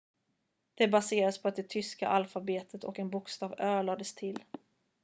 "det baserades på det tyska alfabetet och en bokstav "õ/õ" lades till.